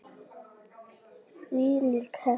Hvílík heppni!